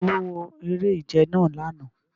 Talo wo ere-ije nàa làná